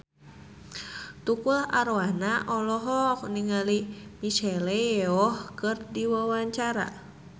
Tukul Arwana olohok ningali Michelle Yeoh keur diwawancara